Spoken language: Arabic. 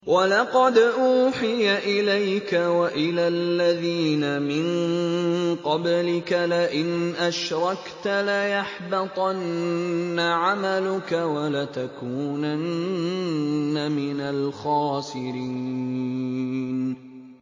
وَلَقَدْ أُوحِيَ إِلَيْكَ وَإِلَى الَّذِينَ مِن قَبْلِكَ لَئِنْ أَشْرَكْتَ لَيَحْبَطَنَّ عَمَلُكَ وَلَتَكُونَنَّ مِنَ الْخَاسِرِينَ